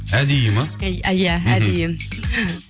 әдейі ме иә әдейі